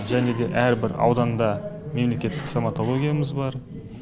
және де әр бір ауданда мемлекеттік стоматологиямыз бар